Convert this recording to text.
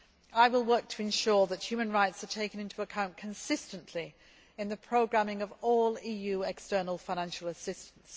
I will work to ensure that human rights are taken into account consistently in the programming of all EU external financial assistance.